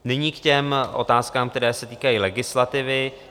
Nyní k těm otázkám, které se týkají legislativy.